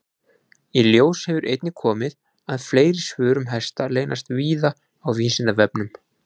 Í ljós hefur einnig komið að fleiri svör um hesta leynast víða á Vísindavefnum.